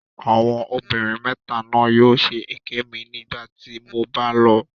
Àwọn ọmọbìnrin mẹta náà yóò ṣe èké mi nígbà tí mo bá lọ.